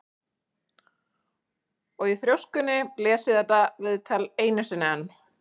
Og í þrjóskunni les ég þetta viðtal einu sinni enn.